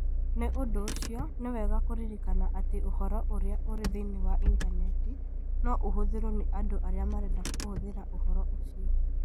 Nĩ ũndũ ũcio, nĩ wega kũririkana atĩ ũhoro ũrĩa ũrĩ thĩinĩ wa Intaneti no ũhũthĩrũo nĩ andũ arĩa marenda kũhũthĩra ũhoro ũcio.